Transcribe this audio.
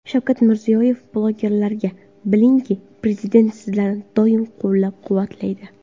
Shavkat Mirziyoyev blogerlarga: Bilingki, Prezident sizlarni doim qo‘llab-quvvatlaydi.